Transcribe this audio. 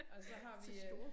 Og så har vi øh